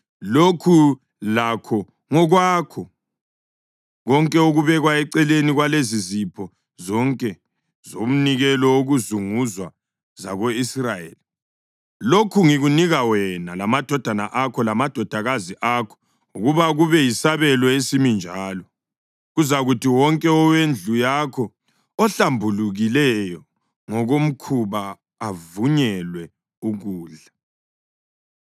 Lokhu lakho ngokwakho: konke okubekwa eceleni kwalezizipho zonke zomnikelo wokuzunguzwa zako-Israyeli. Lokhu ngikunika wena lamadodana akho lamadodakazi akho ukuba kube yisabelo esimi njalo. Kuzakuthi wonke owendlu yakho ohlambulukileyo ngokomkhuba avunyelwe ukudla.